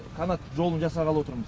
канат жолын жасағалы отырмыз